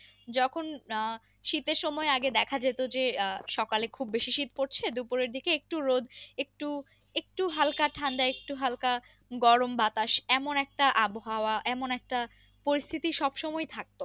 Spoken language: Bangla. যখন আহ শীতের সময় আগে দেখা যেত যে আহ সকালে খুব বেশি শীত পড়ছে দুপুরের দিকে একটু রোদ একটু একটু হালকা ঠান্ডা একটু হালকা গরম বাতাস এমন একটা আবহাওয়া এমন একটা পরিস্থিতি সব সময়ই থাকতো।